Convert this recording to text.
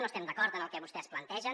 no estem d’acord amb el que vostès plantegen